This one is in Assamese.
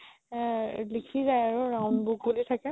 আ লিখি যাই আৰু round book বুলি থাকে